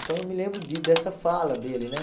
Então, eu me lembro de dessa fala dele, né?